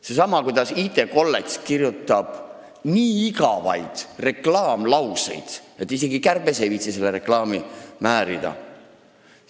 See on sama teema, et IT kolledž kirjutab nii igavaid reklaamlauseid, et isegi kärbes ei viitsi seda reklaami määrida.